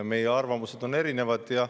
Meie arvamused on erinevad.